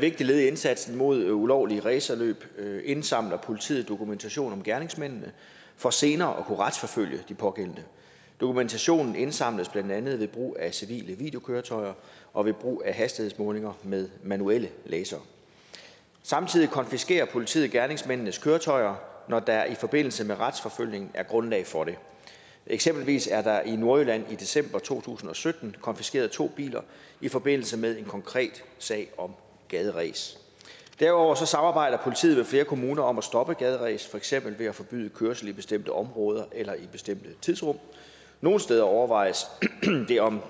vigtigt led i indsatsen mod ulovlige racerløb indsamler politiet dokumentation om gerningsmændene for senere at kunne retsforfølge de pågældende dokumentationen indsamles blandt andet ved brug af civile videokøretøjer og ved brug af hastighedsmålinger med manuelle lasere samtidig konfiskerer politiet gerningsmændenes køretøjer når der i forbindelse med retsforfølgning er grundlag for det eksempelvis er der i nordjylland i december to tusind og sytten konfiskeret to biler i forbindelse med en konkret sag om gaderæs derudover samarbejder politiet med flere kommuner om at stoppe gaderæs for eksempel ved at forbyde kørsel i bestemte områder eller i bestemte tidsrum nogle steder overvejes det om